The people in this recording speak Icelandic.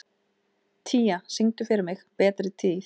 Tía, syngdu fyrir mig „Betri tíð“.